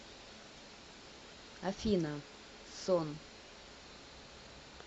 афина сон